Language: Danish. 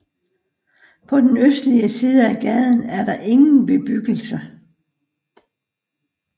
På den østlige side af gaden er der ingen bebyggelse